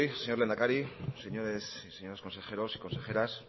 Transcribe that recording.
señor lehendakari señoras y señores consejeros y consejeras